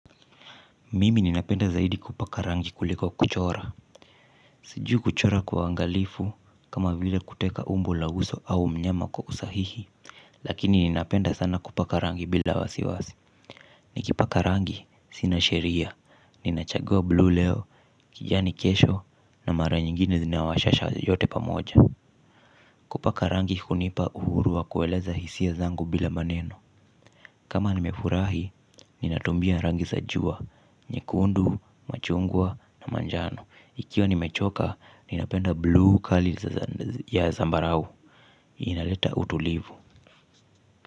Mimi ninapenda zaidi kupaka rangi kuliko kuchora. Sijui kuchora kwa uangalifu kama vile kuteka umbo la uso au mnyama kwa usahihi. Lakini ninapenda sana kupaka rangi bila wasiwasi. Nikipaka rangi sina sheria, ninachagua bluu leo kijani kesho na mara nyingine zina washasha yote pamoja. Kupaka rangi hunipa uhuru wa kueleza hisia zangu bila maneno. Kama nimefurahi ninatumia rangi za jua nyekundu machungwa na manjano nikiwa nimechoka ninapenda bluu kali ya zambarau inaleta utulivu.